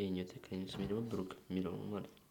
ይሄኛው ትክክለኛ ስሜ ደግሞ ብሩክ የሚለው ነው ማለት ነው።